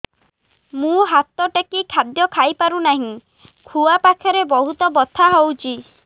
ମୁ ହାତ ଟେକି ଖାଦ୍ୟ ଖାଇପାରୁନାହିଁ ଖୁଆ ପାଖରେ ବହୁତ ବଥା ହଉଚି